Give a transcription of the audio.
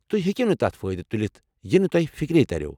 تُہۍ ہیٚکو نہٕ تتھ فأئدٕ تلتھ یہِ نہٕ تۄہہِ فِكری ترِیو۔